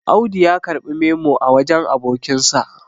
Audu ya karɓI memo a wajen abokinsa